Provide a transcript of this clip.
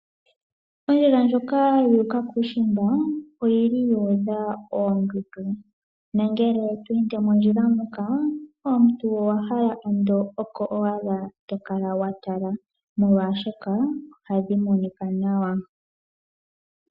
Ondjila ndjoka yu uka kuushimba oyili yu udha oondundu nongele to ende mondjila moka omuntu owa hala ondo oko owala tokala watala, molwashoka ohadhi monika nawa.